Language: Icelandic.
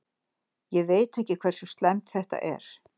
Ég veit ekki hversu slæmt þetta er.